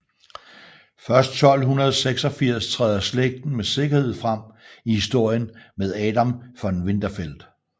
Først 1286 træder slægten med sikkerhed frem i historien med Adam von Winterfeld